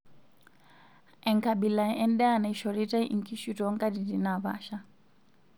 Enkabila endaa naishoritae nkishu toonkatitin naapasha.